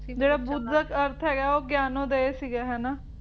ਜਿਹੜਾ ਬੁੱਧ ਦਾ ਅਰਥ ਹੈਗਾ ਉਹ ਗਿਆਨ ਦਾ ਇਹ ਸੀਗਾ ਹਨਾਂ